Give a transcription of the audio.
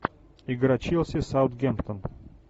игра челси саутгемптон